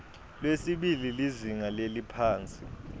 lwesibili lizinga leliphansi